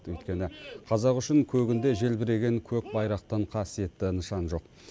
өйткені қазақ үшін көгінде желбіреген көк байрақтан қасиетті нышан жоқ